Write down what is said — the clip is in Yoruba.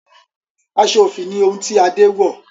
aṣọ òfì ni ohun ti Ade wọ